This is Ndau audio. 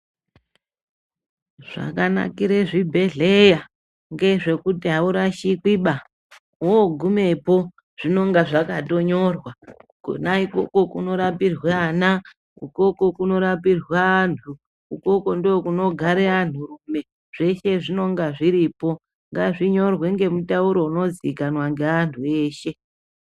Zvakanakire zvibhedhleya ngezvekuti haurashikwiba vogumepo zvinonga zvakatonyorwa. Kona ikoko kunorapire ana ukoko kunorapirwe antu ikoko ndokunodare anturume zveshe zvinonga zviripo, ngazvinyorwe ngemutauro unozikanwa ngeantu eshe.